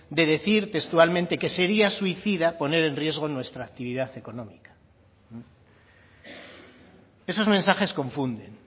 de decir textualmente que sería suicida poner en riesgo nuestra actividad económica esos mensajes confunden